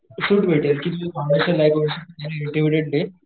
सूट भेटेल कि तू फाउंडेशन नाही करू शकत